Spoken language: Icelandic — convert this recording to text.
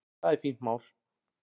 Það er fínt mál.